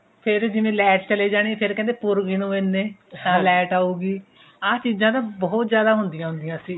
ਫੇਰ ਜਿਵੇਂ light ਚਲੇ ਜਾਣੀ ਫੇਰ ਕਹਿੰਦੇ ਪੁਰਬ ਜੀ ਨੂੰ ਇਹਨੇ ਤਾਂ light ਆਉਗੀ ਆਹ ਚੀਜਾ ਨਾ ਬਹੁਤ ਜਿਆਦਾ ਹੁੰਦਿਆ ਹੁੰਦੀ ਸੀ